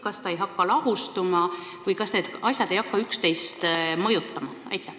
Kas see ei hakka kuidagi nagu lahustuma või kas need asjad ei hakka üksteist mõjutama?